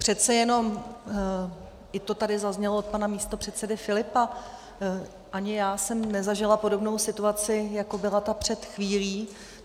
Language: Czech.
Přece jenom, jak to tady zaznělo od pana místopředsedy Filipa, ani já jsem nezažila podobnou situaci, jako byla ta před chvílí.